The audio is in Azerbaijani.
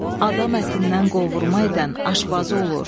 Adam ətindən qovurma edən aşbazı olur.